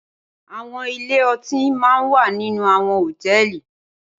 Awòn ilé òtín má n wá ninú áwòn hótèlí